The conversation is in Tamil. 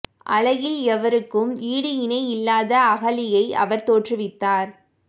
அழகில் எவருக்கும் ஈடு இணை இல்லாத அகலியை அவர் தோற்றுவித்தார்